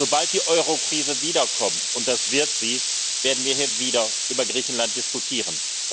nicht. Sobald die Eurokrise wiederkommt und das wird sie werden wir hier wieder über Griechenland diskutieren.